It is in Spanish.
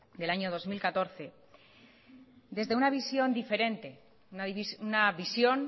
del año dos mil catorce desde una visión diferente una visión